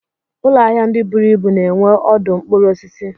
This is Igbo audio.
Ụlọahia ndị buru ibu na-enwe ọdụ mkpụrụ osisi.